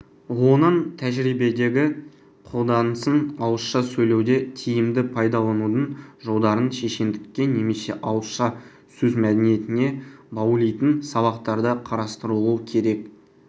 оның тәжірибедегі қолданысын ауызша сөйлеуде тиімді пайдаланудың жолдарын шешендікке немесе ауызша сөз мәдениетіне баулитын сабақтарда қарастырылуы керек